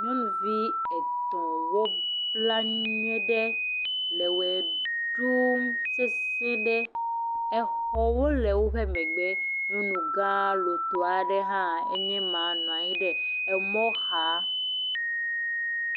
Nyɔnuvi etɔ̃ wobla nyuieɖe, le wɔ ɖuuum sesẽ ɖe. Exɔwo le woƒe megbe. Nyɔnugã lotɔ ɖe hã enye ma nɔ anyi ɖe emɔ xaa.